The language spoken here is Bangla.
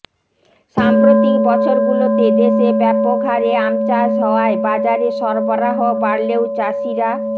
সাম্প্রতিক বছরগুলোতে দেশে ব্যাপক হারে আম চাষ হওয়ায় বাজারে সরবরাহ বাড়লেও চাষিরা